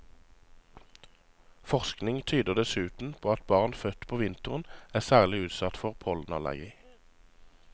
Forskning tyder dessuten på at barn født på vinteren er særlig utsatt for pollenallergi.